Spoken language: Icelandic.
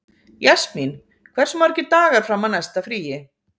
Jasmín, hversu margir dagar fram að næsta fríi?